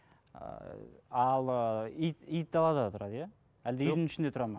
ыыы ал ы ит ит далада тұрады иә әлде үйдің ішінде тұрады ма